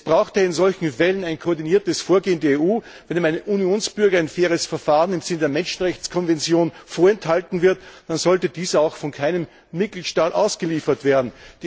Es bräuchte in solchen Fällen ein koordiniertes Vorgehen der EU Wenn einem EU Bürger ein faires Verfahren im Sinne der Menschenrechtskonvention vorenthalten wird, dann sollte dieser auch von keinem Mitgliedstaat ausgeliefert werden.